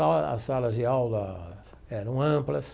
As salas de aula eram amplas.